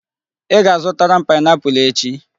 Ị ga-azụtara m pineapple echi.